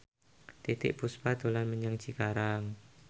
Titiek Puspa dolan menyang Cikarang